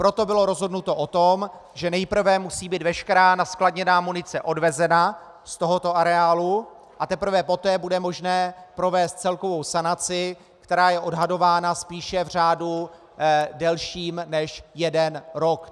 Proto bylo rozhodnuto o tom, že nejprve musí být veškerá naskladněná munice odvezena z tohoto areálu, a teprve poté bude možné provést celkovou sanaci, která je odhadována spíše v řádu delším než jeden rok.